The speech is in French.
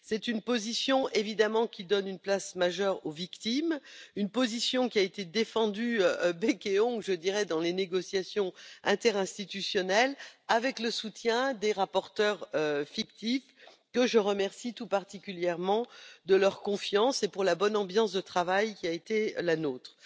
Évidemment, c'est une position qui donne une place majeure aux victimes et qui a été défendue bec et ongles dans les négociations interinstitutionnelles avec le soutien des rapporteurs fictifs, que je remercie tout particulièrement de leur confiance et pour la bonne ambiance de travail qui a été la nôtre.